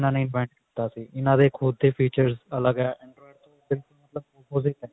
ਇਹਨਾ ਨੇ invent ਕੀਤਾ ਸੀ ਇਹਨਾ ਦੇ ਖੁਦ ਦੇ features ਅਲੱਗ ਹੈ android ਤੋਂ opposite ਹੈ